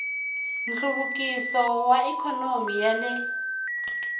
nhluvukiso wa ikhonomi ya le